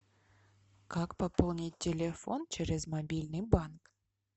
как пополнить телефон через мобильный банк